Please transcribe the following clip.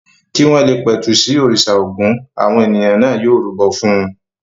Kí wọ́n le pẹ̀tù sí òrìṣà Ògún àwọn ènìyàn náà yóò rúbọ fún un.